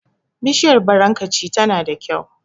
Bishiyar barankaci tana da kyau.